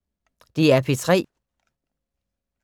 DR P3